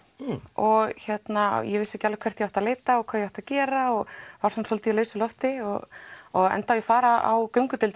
og ég vissi ekki alveg hvert ég átti að leita og hvað ég átti að gera og var svolítið svona í lausu lofti og og endaði á að fara á göngudeild